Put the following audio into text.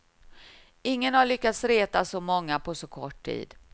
Ingen har lyckats reta så många på så kort tid.